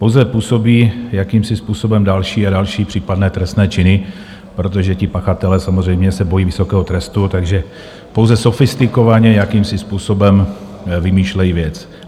Pouze působí jakýmsi způsobem další a další případné trestné činy, protože ti pachatelé samozřejmě se bojí vysokého trestu, takže pouze sofistikovaně jakýmsi způsobem vymýšlejí věc.